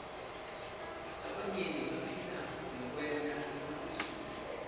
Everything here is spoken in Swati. labanyenti baphila ngekwenta emabhizinisi